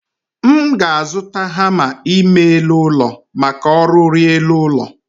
M ga-azụta hama ime elụ ụlọ maka ọrụ r'elu ụlọ